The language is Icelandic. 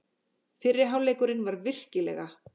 Fyrri hálfleikurinn var virkilega.